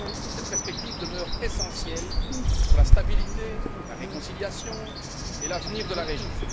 Cette perspective demeure essentielle pour la stabilité, la réconciliation et l'avenir de la région.